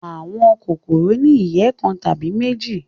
Àwọn kòkòrò ni ìyẹ́ kan tàbí méjì.